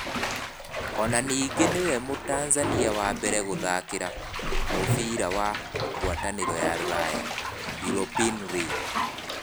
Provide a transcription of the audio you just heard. O na ningĩ nĩ we Mũtanzania wa mbere gũthakira mũbira wa gwatanĩro ya rũraya (European League).